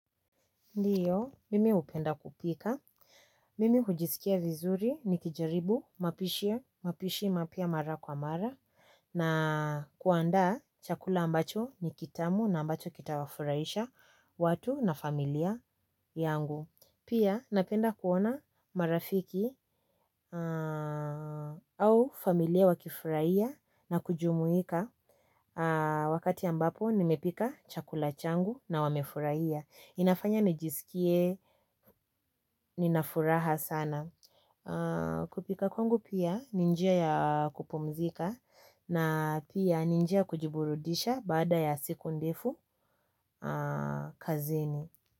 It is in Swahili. Ndiyo, mimi hupenda kupika, mimi hujiskia vizuri nikijaribu, mapishi, mapya mara kwa mara, na kuandaa chakula ambacho ni kitamu na ambacho kitawafurahisha watu na familia yangu. Pia napenda kuona marafiki au familia wakifurahia na kujumuika wakati ambapo nimepika chakula changu na wamefurahia. Inafanya nijiskie, nina furaha sana. Kupika kwangu pia ni njia ya kupumzika na pia ni njia ya kujiburudisha baada ya siku ndefu kazini.